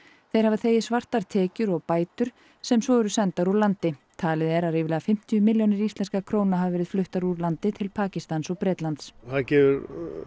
þeir hafa þegið svartar tekjur og bætur sem svo eru sendar úr landi talið er að ríflega fimmtíu milljónir íslenskra króna hafi verið fluttar úr landi til Pakistans eða Bretlands það gefur